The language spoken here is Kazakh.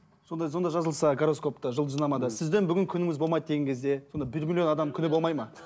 сонда сонда жазылса гороскопта жұлдызнамада сіздің бүгін күніңіз болмайды деген кезде сонда бір миллион адамның күні болмады ма